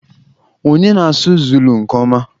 Onye na-asụ Zulu nke ọma?